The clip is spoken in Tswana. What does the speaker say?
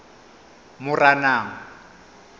moranang